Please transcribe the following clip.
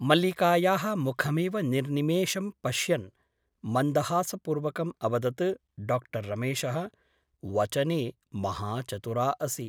मल्लिकायाः मुखमेव निर्निमेषं पश्यन् मन्दहासपूर्वकम् अवदत् डाक्टर् रमेशः वचने महाचतुरा असि ।